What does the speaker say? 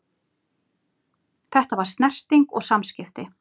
Þetta var snerting og samskipti.